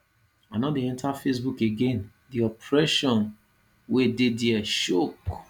i no dey enter facebook again the oppression wey dey dia choke